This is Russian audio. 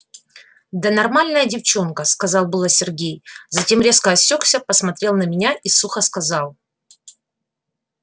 да нормальная девчонка сказал было сергей затем резко осёкся посмотрел на меня и сухо сказал